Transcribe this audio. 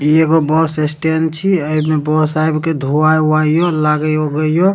इ एगो bus stand छी एमे बस आब के धोवइ वाई के लागे उगे हो --